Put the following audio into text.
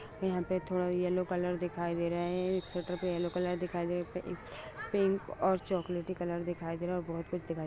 यहाँ पे थोड़ा येलो कलर दिखाई दे रहा है एक पे येलो कलर दिखाई दे इस अ पिंक और चोक्लेटी कलर दिखाई दे रहा है और बहुत कुछ दिखाई दे रहा है।